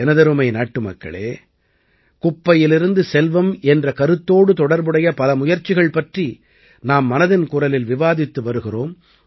எனதருமை நாட்டுமக்களே குப்பையிலிருந்து செல்வம் என்ற கருத்தோடு தொடர்புடைய பல முயற்சிகள் பற்றி நாம் மனதின் குரலில் விவாதித்து வருகிறோம்